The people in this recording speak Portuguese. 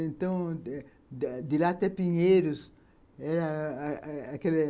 Então eh, de lá até Pinheiros, era aquele...